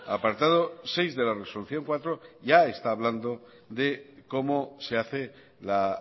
apartado seis de la resolución cuatro ya está hablando de como se hace la